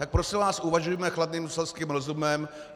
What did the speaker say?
Tak prosím vás, uvažujme chladným selským rozumem.